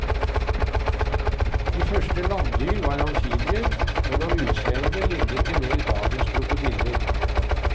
De første landdyr var amfibier, men av utseende lignet de mer dagens krokodiller.